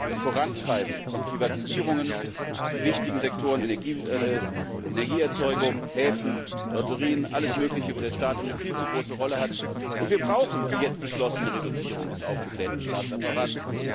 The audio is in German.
Das Vorantreiben von Privatisierungen in wichtigen Sektoren wie Energieerzeugung, Häfen, Lotterien alles mögliche, wo der Staat eine viel zu große Rolle spielt, und wir brauchen die jetzt beschlossene Reduzierung des aufgeblähten Staatsapparats.